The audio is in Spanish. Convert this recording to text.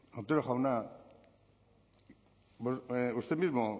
otero jauna usted mismo